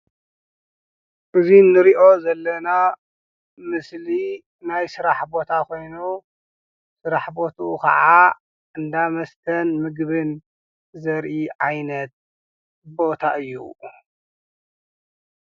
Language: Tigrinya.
እዚ ንሪኦ ዘለና ምስሊ ናይ ስራሕ ቦታ ኮይኑ ስራሕ ቦትኡ ከዓ እንዳ መስተን ምግብን ዘርኢ ዓይነት ቦታ እዩ ።